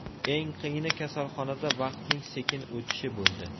Eng qiyini kasalxonada vaqtning sekin o‘tishi bo‘ldi.